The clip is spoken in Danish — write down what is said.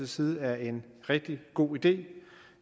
side er en rigtig god idé